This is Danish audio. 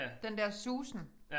Den der susen